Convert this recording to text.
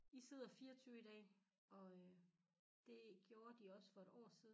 I sidder 24 i dag og øh det gjorde de også for et år siden